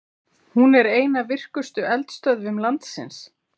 Hún er ein af virkustu eldstöðvum landsins.